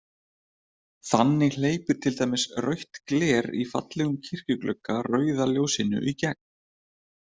Þannig hleypir til dæmis rautt gler í fallegum kirkjuglugga rauða ljósinu í gegn.